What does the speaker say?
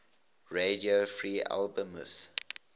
radio free albemuth